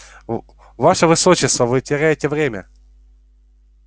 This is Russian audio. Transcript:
ваше высочество вы теряете время